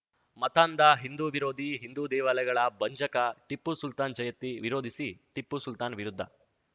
ಮತಾಂಧ ಹಿಂದು ವಿರೋಧಿ ಹಿಂದು ದೇವಾಲಯಗಳ ಭಂಜಕ ಟಿಪ್ಪು ಸುಲ್ತಾನ್‌ ಜಯಂತಿ ವಿರೋಧಿಸಿ ಟಿಪ್ಪು ಸುಲ್ತಾನ್‌ ವಿರುದ್ಧ